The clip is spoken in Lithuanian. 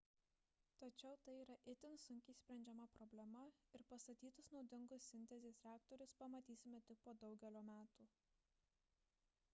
tačiau tai yra itin sunkiai sprendžiama problema ir pastatytus naudingus sintezės reaktorius pamatysime tik po daugelio metų